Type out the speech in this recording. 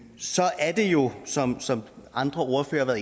så er det jo som som andre ordførere